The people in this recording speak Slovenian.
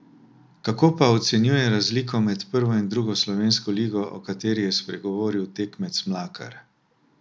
Kako pa ocenjuje razliko med prvo in drugo slovensko ligo, o kateri je spregovoril tekmec Mlakar?